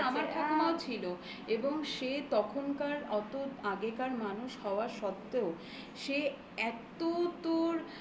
ছিল এবং সে তখনকার অত আগেকার মানুষ হওয়া সত্ত্বেও সে এত তোর মানে উম